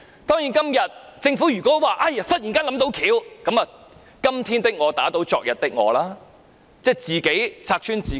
當然，如果政府忽然說想到解決方法，就是"今天的我打倒昨天的我"，即自己拆穿自己。